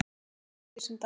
Tökum þig sem dæmi.